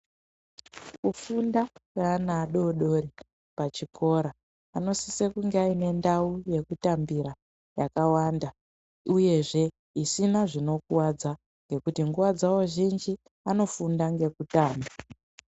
Kufunda kweana adodori pachikora anosisa kunge aine ndau yekutambira yakawanda uyezve isina zvinokuwadza ngekuti nguwa dzawo zhinji anofunda ngekutamba.